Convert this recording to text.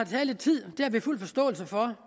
vi har fuld forståelse for